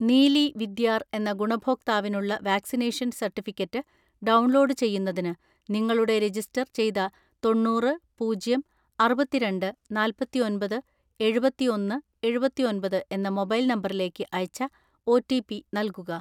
നീലി വിദ്യാർ എന്ന ഗുണഭോക്താവിനുള്ള vaccination certificate download ചെയ്യുന്നതിന്, നിങ്ങളുടെ രജിസ്റ്റർ ചെയ്ത തൊണ്ണൂറ് പൂജ്യം അറുപത്തിരണ്ട് നാല്‍പത്തിഒന്‍പത് എഴുപത്തിഒന്ന് എഴുപത്തിഒന്‍പത് എന്ന മൊബൈൽ നമ്പറിലേക്ക് അയച്ച ഒ. റ്റി. പി നൽകുക.